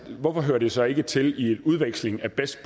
hvorfor hører det så ikke til i et udveksling af best